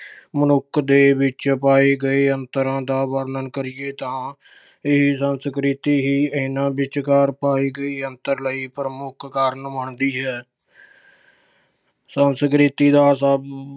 ਮਨੁੱਖ ਦੇ ਵਿੱਚ ਪਾਏ ਗਏ ਅੰਤਰਾਂ ਦਾ ਵਰਣਨ ਕਰੀਏ ਤਾਂ ਇਹ ਸੰਸਕ੍ਰਿਤੀ ਹੀ ਇਹਨਾਂ ਵਿਚਕਾਰ ਅੰਤਰ ਲਈ ਪ੍ਰਮੁੱਖ ਕਾਰਨ ਬਣਦੀ ਏ। ਸੰਸਕ੍ਰਿਤੀ ਦਾ ਸਭ